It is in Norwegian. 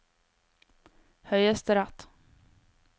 høyesterett